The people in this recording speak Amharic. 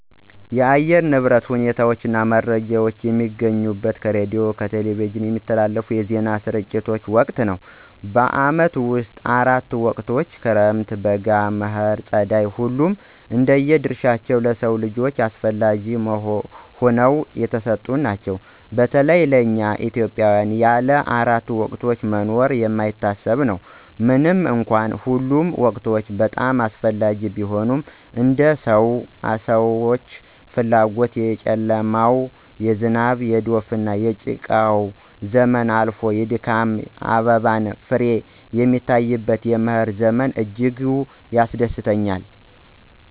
የአየር ንብረት ሁኔታ መረጃ የማገኘው ከሬዲዮና ከቴሌቪዥን በሚተላለፉ የዜና ስርጭት ወቅት ነው። በዓመቱ ውስጥ አራት ወቅቶች ክረምት፣ በጋ፣ መኸር ና ፀደይ ሁሉም እንደየ ድርሻቸው ለሰው ልጆች አስፈለጊ ሁነው የተሰጡን ናቸው። በተለይ ለእኛ ኢትዮጵያውያን ያለ አራቱ ወቅቶች መኖር የማይታሰብ ነው። ምንም እንኳን ሁሉም ወቅቶች በጣም አስፈላጊ ቢሆኑም እንደ ሰው ሰዎኛ ፍላጎት የጨለማው፣ የዝናብ፣ የዶፍ፣ የጭቃው ዘመን አልፎ የድካም አበባና ፍሬ የሚታይበት የመኸር ዘመን እጅጉን ያስደስተኛል።